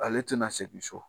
Ale tɛna segin so.